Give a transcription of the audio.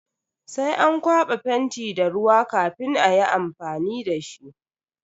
Sai an kwaba fenti da ruwa kafin ayi amfani dashi.